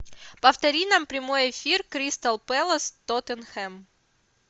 повтори нам прямой эфир кристал пэлас тоттенхэм